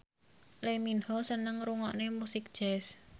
Lee Min Ho seneng ngrungokne musik jazz